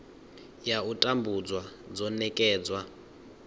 ya u tambudzwa dzo nekedzwa